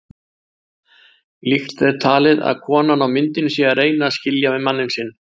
Líklegt er talið að konan á myndinni sé að reyna að skilja við manninn sinn.